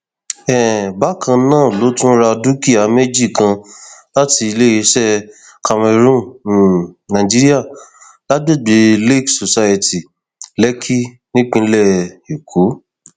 um bákan náà ló tún ra dúkìá méjì kan láti iléeṣẹ camarron um nigeria lágbègbè lakes society lèkì nípínlẹ èkó